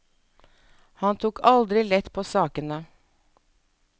Han tok aldri lett på sakene.